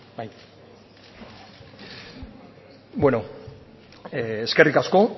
eskerrik asko